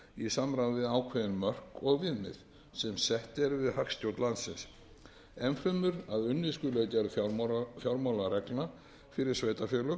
í samráði við ákveðin mörk og viðmið sem sett eru við hagstjórn landsins enn fremur að unnið skuli að gerð fjármálareglna fyrir sveitarfélög